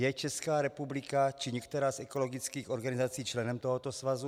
Je Česká republika či některá z ekologických organizací členem tohoto svazu?